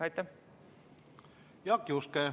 Jaak Juske, palun!